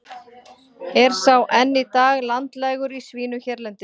Er sá enn í dag landlægur í svínum hérlendis.